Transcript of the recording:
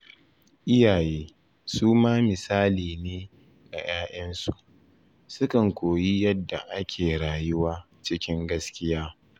Iyaye su ma misali ne ga ‘ya’yansu, sukan koyi yadda ake rayuwa cikin gaskiya